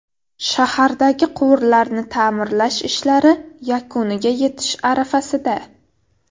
Shahardagi quvurlarni ta’mirlash ishlari yakuniga yetish arafasida.